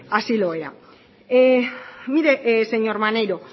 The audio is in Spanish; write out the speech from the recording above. así lo era mire señor maneiro